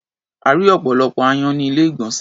A rí́ ọ̀pọ̀lọpọ̀ aáyán ní ilé-ìgbọ̀nsè.